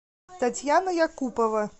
татьяна якупова